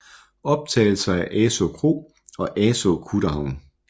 Optagelser af Asaa Kro og Asaa kutterhavn